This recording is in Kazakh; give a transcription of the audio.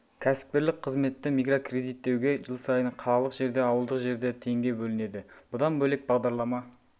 кәсіпкерлік қызметті микрокредиттеуге жыл сайын қалалық жерде ауылдық жерде теңге бөлінеді бұдан бөлек бағдарлама